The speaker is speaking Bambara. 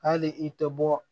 Hali i tɛ bɔ